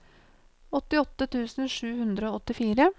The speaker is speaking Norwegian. åttiåtte tusen sju hundre og åttifire